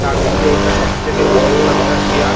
তারমধ্যে এটা সবথেকে বড় একটা চেয়ার ।